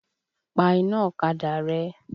Pa iná ọ̀kadà rẹ!